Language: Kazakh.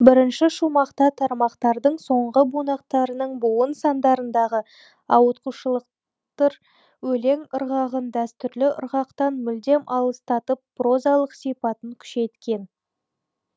бірінші шумақта тармақтардың соңғы бунақтарының буын сандарындағы ауытқушылық өлең ырғағын дәстүрлі ырғақтан мүлдем алыстатып прозалық сипатын күшейткен